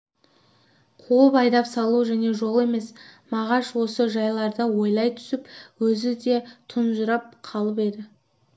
қуып айдап салу және жол емес мағаш осы жайларды ойлай түсіп өзі де тұнжырап қалып еді